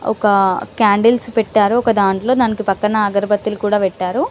ఒక కాండిల్స్ పెట్టారు ఒక దంట్లో దానికి పక్కన అగరబత్తిలు కూడా పెట్టారు.